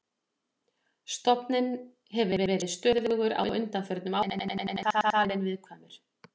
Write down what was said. Stofninn hefur verið stöðugur á undanförnum áratugum en er talinn viðkvæmur.